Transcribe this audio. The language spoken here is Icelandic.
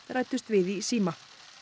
ræddust við í síma